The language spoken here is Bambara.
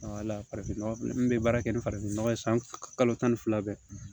farafin nɔgɔ min bɛ baara kɛ ni farafin nɔgɔ ye san kalo tan ni fila bɛɛ